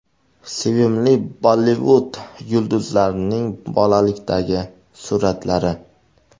Sevimli Bollivud yulduzlarining bolalikdagi suratlari .